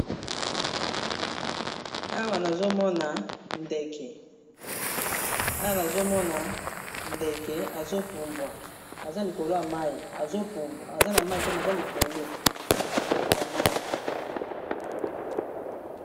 Awa nazomona ndeke azo pumbwa aza likolo ya mayi, azopumbwa aza na mayi te, mais likolo ya mayi.